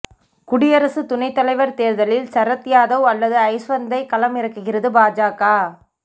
குடியரசு துணைத் தலைவர் தேர்தலில் சரத் யாதவ் அல்லது ஜஸ்வந்த்தை களம் இறக்குகிறது பாஜக